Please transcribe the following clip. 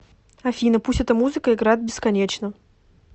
афина пусть эта музыка играет бесконечно